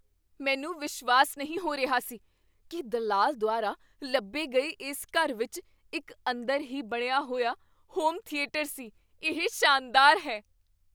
ਮੈਨੂੰ ਵਿਸ਼ਵਾਸ ਨਹੀਂ ਹੋ ਰਿਹਾ ਸੀ ਕੀ ਦਲਾਲ ਦੁਆਰਾ ਲੱਭੇ ਗਏ ਇਸ ਘਰ ਵਿੱਚ ਇੱਕ ਅੰਦਰ ਹੀ ਬਣਿਆ ਹੋਇਆ ਹੋਮ ਥੀਏਟਰ ਸੀ। ਇਹ ਸ਼ਾਨਦਾਰ ਹੈ!